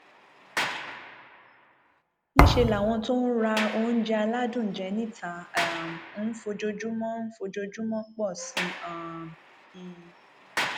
níṣẹ làwọn tó ń ra oúnjẹ aládùn jẹ níta um ń fojoojúmọ ń fojoojúmọ pọ sí um i